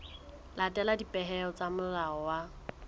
latela dipehelo tsa molao wa